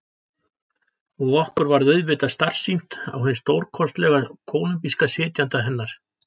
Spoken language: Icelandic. Og okkur varð auðvitað starsýnt á hinn stórkostlega kólumbíska sitjanda hennar.